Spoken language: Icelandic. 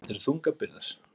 Þetta eru þungar byrðar